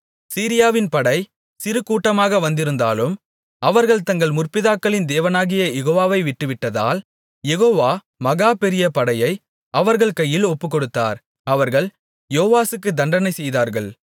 சீரியாவின் படை சிறுகூட்டமாக வந்திருந்தாலும் அவர்கள் தங்கள் முற்பிதாக்களின் தேவனாகிய யெகோவாவை விட்டுவிட்டதால் யெகோவா மகா பெரிய படையை அவர்கள் கையில் ஒப்புக்கொடுத்தார் அவர்கள் யோவாசுக்கு தண்டனை செய்தார்கள்